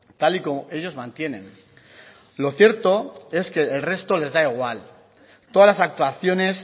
tal y como ellos mantienen lo cierto es que el resto les da igual todas las actuaciones